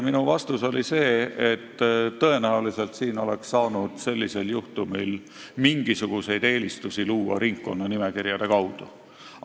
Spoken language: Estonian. Minu vastus talle oli selline, et tõenäoliselt oleks saanud sellisel juhtumil mingisuguseid eelistusi luua ringkonnanimekirjade kaudu.